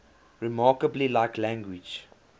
remarkably like language